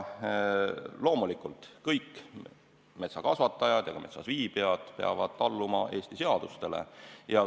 Loomulikult, kõik metsakasvatajad ja ka metsas viibijad peavad alluma Eesti seadustele.